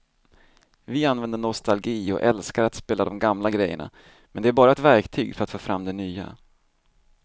Vi använder nostalgi och älskar att spela de gamla grejerna men det är bara ett verktyg för att få fram det nya.